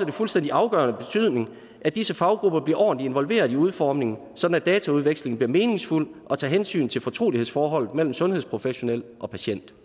af fuldstændig afgørende betydning at disse faggrupper bliver ordentligt involveret i udformningen sådan at dataudvekslingen bliver meningsfuld og tager hensyn til fortrolighedsforholdet mellem den sundhedsprofessionelle og patienten